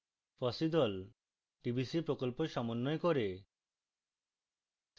fossee the tbc প্রকল্প সমন্বয় করে